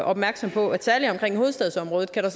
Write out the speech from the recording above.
opmærksom på at særlig omkring hovedstadsområdet kan der